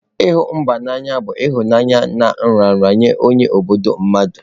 Ihu mba n'anya bu ihunanya na nraranye nye obodo mmadu